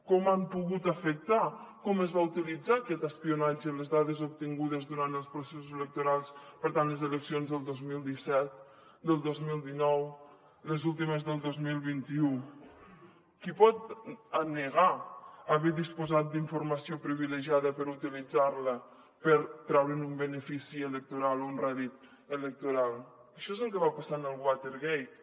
com hi han pogut afectar com es va utilitzar aquest espionatge en les dades obtingudes durant els processos electorals per tant les eleccions del dos mil disset del dos mil dinou les últimes del dos mil vint u qui pot negar haver disposat d’informació privilegiada per utilitzar la per treure’n un benefici electoral o un rèdit electoral això és el que va passar amb el watergate